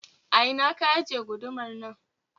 A ina ka ajiye gudumar nan?